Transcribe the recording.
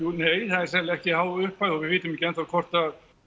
nei það er sennilega ekki há upphæð og við vitum ekki enn þá hvort að